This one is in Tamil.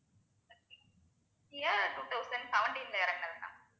கியா two thousand seventeen ல இறங்கினது ma'am